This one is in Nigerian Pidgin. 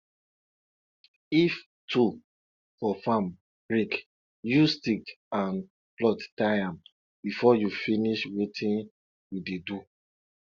if tool for farm break use stick and cloth tie am before you finish wetin you dey do